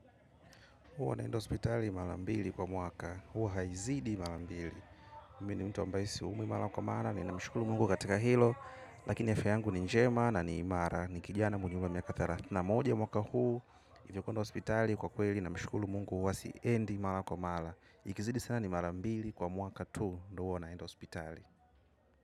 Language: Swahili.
Huwa naenda hospitali malambili kwa mwaka. Huwa haizidi malambili. Mi ni mtu ambaisi umwi mala kwa maana ni na mshukulu mungu katika hilo. Lakini afya yangu ni njema na ni imara. Ni kijana mwenye umri wa miaka tharathini. Na moja mwaka huu, hivyo kuenda hospitali kwa kweli na mshukulu mungu huwa si endi malakwa mala. Ikizidi sana ni malambili kwa mwaka tu, ndo huwa naenda hospitali.